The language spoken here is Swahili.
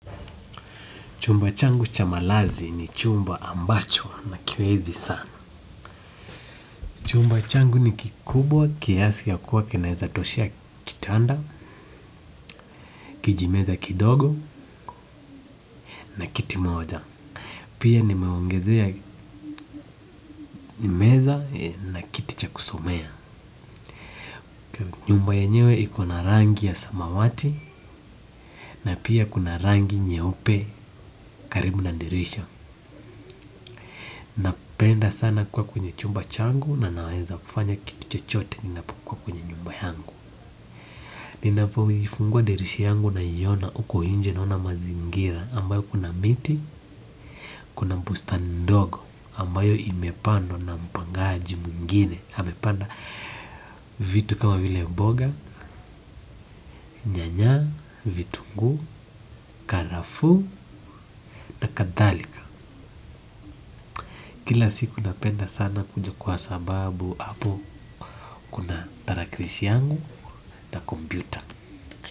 Chumba changu cha malazi ni chumba ambacho nakienzi sana. Chumba changu ni kikubwa kiasi ya kuwa kinaweza toshea kitanda, kijimeza kidogo na kiti moja. Pia nimeongezea meza na kiti cha kusomea. Nyumba yenyewe iko na rangi ya samawati na pia kuna rangi nyeupe karibu na dirisha. Napenda sana kuwa kwenye chumba changu na naweza kufanya kitu chochote ninapokuwa kwenye nyumba yangu. Ninapoifungua dirisha yangu naiona huko nje naona mazingira ambayo kuna miti, kuna bustani ndogo ambayo imepandwa na mpangaji mwingine. Amepanda vitu kama vile mboga, nyanya, vitunguu, karafuu na kadhalika. Kila siku napenda sana kuja kwa sababu hapo kuna tarakilishi yangu hata kompyuta.